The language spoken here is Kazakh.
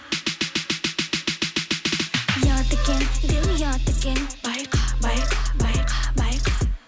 ұят екен деу ұят екен байқа байқа байқа байқа